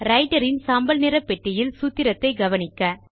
writer இன் சாம்பல் நிற பெட்டியில் சூத்திரத்தை கவனிக்க